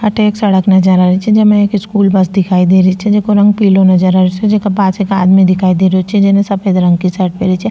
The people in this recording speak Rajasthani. अठे एक सड़क नजर आ री छे जेमे एक स्कूल बस दिखाई दे रही छे जेको रंग पिलो नजर आ रेहो छे जेका पास एक आदमी दिखाई देरो छे जेने सफ़ेद रंग की शर्ट पहनी छे।